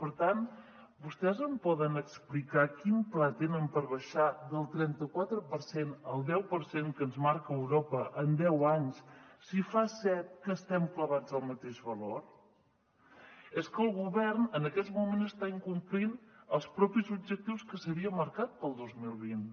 per tant vostès em poden explicar quin pla tenen per baixar del trenta quatre per cent al deu per cent que ens marca europa en deu anys si en fa set que estem clavats al mateix valor és que el govern en aquests moments està incomplint els propis objectius que s’havia marcat per al dos mil vint